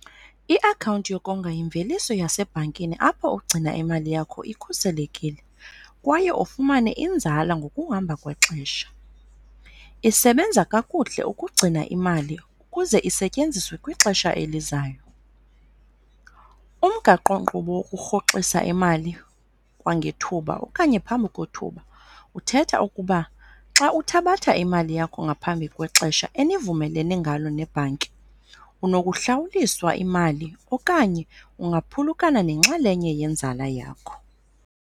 Iakhawunti yokonga yimveliso yasebhankini apho ugcina imali yakho ikhuselekile kwaye ufumane inzala ngokuhamba kwexesha. Isebenza kakuhle ukugcina imali ukuze isetyenziswe kwixesha elizayo. Umgaqo kqubo wokurhoxisa imali kwangethuba okanye phambi kwethuba uthetha ukuba xa uthabatha imali yakho ngaphambi kwexesha enivumelene ngalo nebhanki unokuhlawuliswa imali okanye ungaphulukana nenxalenye yenzala yakho.